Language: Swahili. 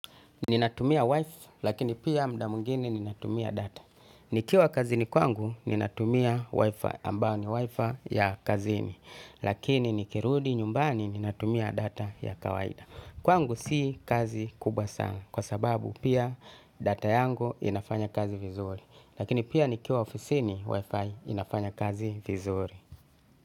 Ninatumia Wi-fi, lakini pia muda mwingine ninatumia data. Nikiwa kazini kwangu, ninatumia Wi-fi ambayo ni Wi-fi ya kazini. Lakini nikirudi nyumbani ninatumia data ya kawaida. Kwangu si kazi kubwa sana kwa sababu pia data yangu inafanya kazi vizuri. Lakini pia nikiwa ofisini Wi-fi inafanya kazi vizuri.